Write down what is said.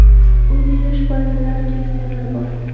Uyda yosh bolalar, keksalar bor.